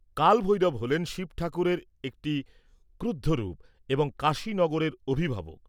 কাল ভৈরব হলেন শিব ঠাকুরের একটি ক্রুদ্ধ রূপ এবং কাশী নগরের অভিভাবক।